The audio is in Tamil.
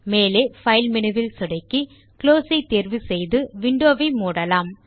மேலே பைல் மெனுவை சொடுக்கி பின் குளோஸ் தேர்வு செய்து விண்டோ வை மூடலாம்